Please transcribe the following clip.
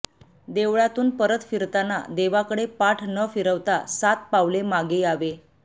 देवळातून परत फिरताना देवाकडे पाठ न फिरवता सात पावले मागे यावे